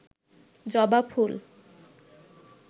জবা ফুল